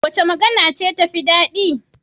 Wace magana ce tafi daɗi?